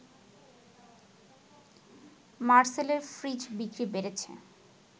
মারসেলের fridge বিক্রি বেড়েছে